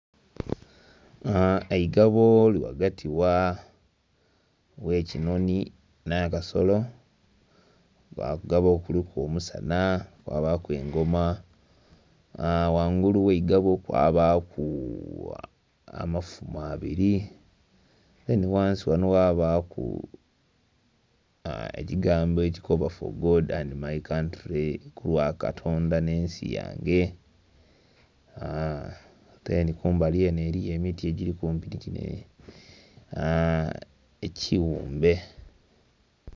Eigabo liri ghagati gh'ekinhonhi, nh'akasolo, nga ku ngabo okwo kuliku omusana kwabaaku engoma, wangulu gh'eigabo kwabaaku amafumu abiri. Me nhi ghansi ghano wabaaku ekigambo ekikoba 'For God and My Country', ku lwa katonda nh'ensi yange. Atenhi kumbali enho eliyo emiti egiri kumpi nhi kino ekighumbe.